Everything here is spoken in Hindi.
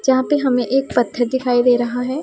यहां पे हमें एक पत्थर दिखाई दे रहा है।